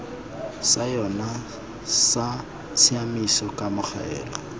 sa yona sa tshiamiso kamogelo